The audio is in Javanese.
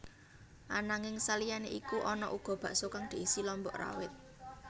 Ananging saliyané iku ana uga bakso kang diisi lombok rawit